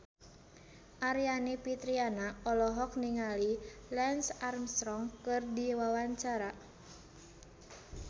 Aryani Fitriana olohok ningali Lance Armstrong keur diwawancara